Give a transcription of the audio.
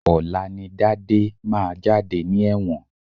Ọ̀la ni Dádé máa jáde ní ẹ̀wọ̀n